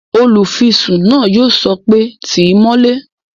Olùfisùn náà yóò sọ pé "tíì mọ́lé!"